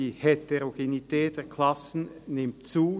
Die Heterogenität der Klassen nimmt zu.